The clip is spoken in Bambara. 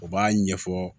U b'a ɲɛfɔ